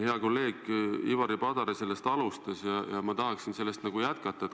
Hea kolleeg Ivari Padar sellest alustas ja ma tahaksin seda jätkata.